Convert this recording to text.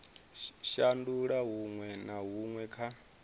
shandula huṅwe na huṅwe kha